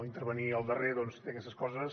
intervenir el darrer doncs té aquestes coses